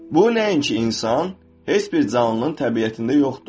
Bu nəinki insan, heç bir canlının təbiətində yoxdur.